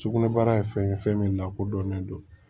Sugunɛbara ye fɛn ye fɛn min lakodɔnnen don